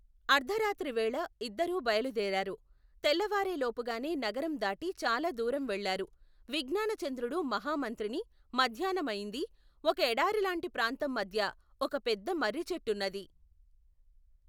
అర్ధరాత్రివేళ ఇద్దరూ బయలుదేరారు. తెల్లవారేలోపుగానే నగరం దాటి చాలా దూరం వెళ్ళారు. విజ్ఞానచంద్రుడు మహమంత్రిని మధ్యాహ్నమయింది. ఒక ఎడారిలాంటి ప్రాంతం మధ్య ఒక పెద్ద మర్రిచేట్టున్నది.